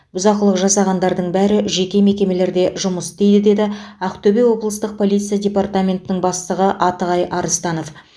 бұзақылық жасағандардың бәрі жеке мекемелерде жұмыс істейді деді ақтөбе облыстық полиция департаментінің бастығы атығай арыстанов